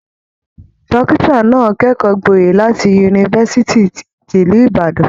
Dọ́kítà náà kẹ́kọ̀ọ́ gboyè láti Yunifásitì ti ìlú Ìbàdàn.